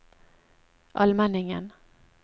Almenningen